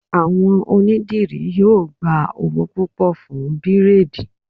Àwọn onídìrí yóò gba owó púpọ̀ fún bírèèdì